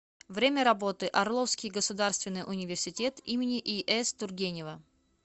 время работы орловский государственный университет им ис тургенева